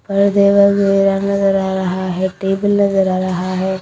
पर्दे व नजर आ रहा हैं टेबल नजर आ रहा हैं।